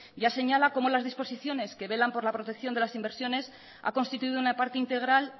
ya señala cómo las disposiciones que velan por la protección de las inversiones ha constituido una parte integral